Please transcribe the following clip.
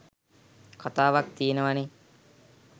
කතාවක් ති‍යෙනවානේ.